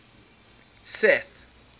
seth